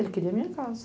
Ele queria a minha casa.